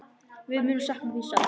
Við munum sakna þín sárt.